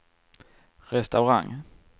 restaurang